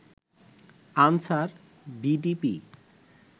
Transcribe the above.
answer, VDP